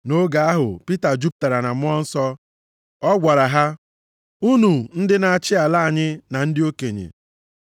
Nʼoge ahụ, Pita jupụtara na Mmụọ Nsọ. Ọ gwara ha, “Unu ndị na-achị ala anyị, na ndị okenye.